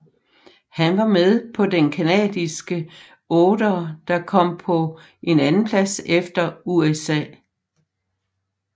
Han var med på den canadiske otter som kom på en andenplads efter USA